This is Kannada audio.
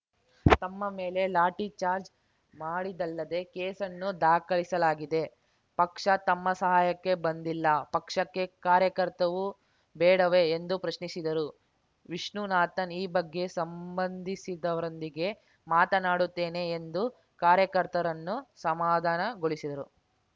ತಮ್ಮ ಮೇಲೆ ಲಾಠಿ ಚಾರ್ಜ್ ಮಾಡಿದ್ದಲ್ಲದೆ ಕೇಸನ್ನೂ ದಾಖಲಿಸಲಾಗಿದೆ ಪಕ್ಷ ತಮ್ಮ ಸಹಾಯಕ್ಕೆ ಬಂದಿಲ್ಲ ಪಕ್ಷಕ್ಕೆ ಕಾರ್ಯಕರ್ತವು ಬೇಡವೇ ಎಂದು ಪ್ರಶ್ನಿಸಿದರು ವಿಷ್ಣುನಾಥನ್‌ ಈ ಬಗ್ಗೆ ಸಂಬಂಧಿಸಿದವರೊಂದಿಗೆ ಮಾತನಾಡುತ್ತೇನೆ ಎಂದು ಕಾರ್ಯಕರ್ತರನ್ನು ಸಮಾಧಾನಗೊಳಿಸಿದರು